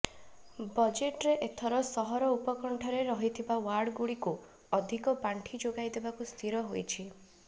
ବଜେଟ୍ରେ ଏଥର ସହର ଉପକଣ୍ଠରେ ରହିଥିବା ୱାର୍ଡଗୁଡ଼ିକୁ ଅଧିକ ପାଣ୍ଠି ଯୋଗାଇ ଦେବାକୁ ସ୍ଥିର ହୋଇଛି